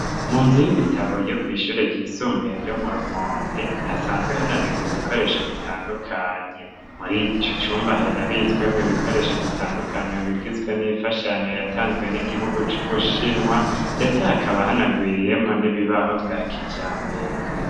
Mu nzu y'ibitabo, yo kw'ishure ryisumbuye ryo mu Rumonge, hasanzwe hanabikwa ibikoresho bitandukanye; muri ico cumba harabitswemwo ibikoresho bitandukanye, bigizwe n'imfashanyo yatanzwe n'igihugu c'Ubushinwa, ndetse hakaba hanagwiriyemwo n'ibibaho vya kijambere.